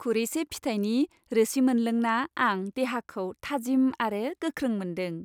खुरैसे फिथाइनि रोसि मोनलोंना आं देहाखौ थाजिम आरो गोख्रों मोनदों।